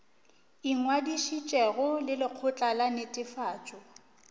ingwadišitšego le lekgotla la netefatšo